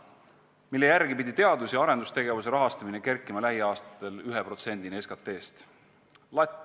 ... mille järgi pidi teadus- ja arendustegevuse rahastamine kerkima lähiaastatel 1%-ni SKT-st.